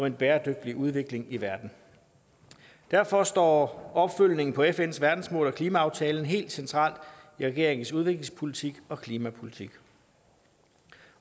en bæredygtig udvikling i verden derfor står opfølgningen på fns verdensmål og klimaaftalen helt centralt i regeringens udviklingspolitik og klimapolitik